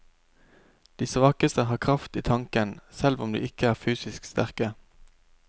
De svakeste har kraft i tanken, selv om de ikke er fysisk sterke.